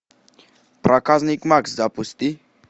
проказник макс запусти